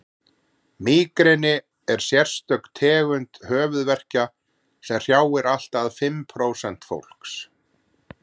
mígreni er sérstök tegund höfuðverkja sem hrjáir allt að því fimm prósent fólks